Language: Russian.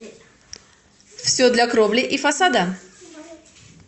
все для кровли и фасада